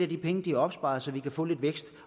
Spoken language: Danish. de penge de har opsparet så vi kan få lidt vækst